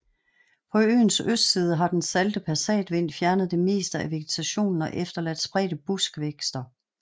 På øens østside har den salte passatvind fjernet det meste af vegetationen og efterladt spredte buskvækster